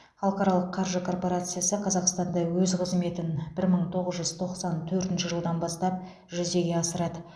халықаралық қаржы корпорациясы қазақстанда өз қызметін бір мың тоғыз жүз тоқсан төртінші жылдан бастап жүзеге асырады